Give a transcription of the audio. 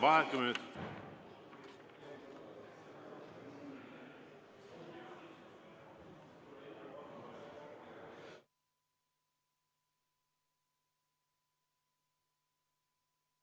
Vaheaeg kümme minutit.